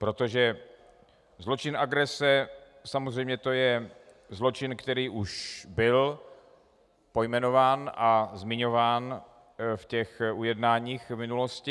Protože zločin agrese, samozřejmě to je zločin, který už byl pojmenován a zmiňován v těch ujednáních v minulosti.